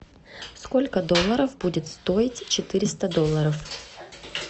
сколько долларов будет стоить четыреста долларов